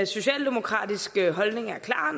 socialdemokratiske holdning er klar